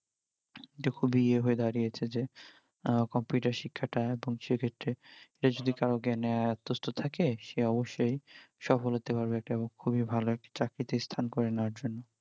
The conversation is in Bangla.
এটা খুবিই ইয়ে হয়ে দাঁড়িয়েছে যে computer শিক্ষা টা এবং সে ক্ষেত্রে এটা যদি কারর জ্ঞানে আত্তস্ত থাকে সে অবশ্যই সফল হতে পারবে একটা খুবি ভাল একটা চাকরিতে স্থান করে নেওয়ার জন্য